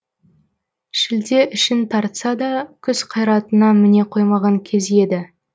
шілде ішін тартса да күз қайратына міне қоймаған кез еді